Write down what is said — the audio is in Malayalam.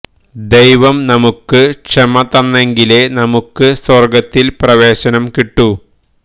ദൈവം നമുക്ക് ക്ഷമ തന്നെങ്കിലേ നമുക്ക് സ്വർഗത്തിൽ പ്രവേശനം കിട്ടൂ